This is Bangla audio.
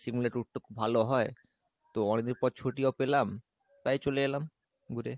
সিমলা tour টা খুব ভালো হয় তো অনেকদিন পর ছুটিও পেলাম তাই চলে এলাম ঘুরতে।